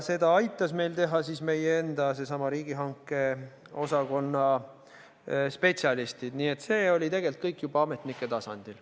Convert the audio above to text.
Seda aitasid meil teha meie enda riigihangete osakonna spetsialistid, nii et see oli tegelikult kõik juba ametnike tasandil.